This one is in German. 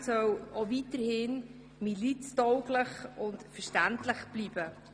Das Instrument soll weiterhin miliztauglich und verständlich bleiben.